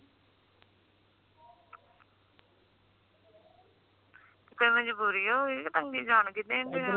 ਕੋਈ ਮਜਬੂਰੀ ਹੋਊਗੀ ਕ ਤੰਗੀ ਜਾਨ ਕੇ